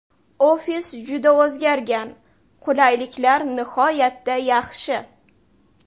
Ofis juda o‘zgargan, qulayliklar nihoyatda yaxshi.